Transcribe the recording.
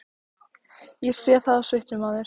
Ég sé það á svipnum á þér.